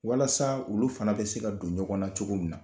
Walasa olu fana bɛ se ka don ɲɔgɔn na cogo min na